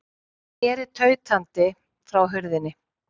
Hún sneri tautandi frá hurðinni.